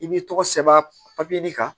I b'i tɔgɔ sɛbɛn papiye kan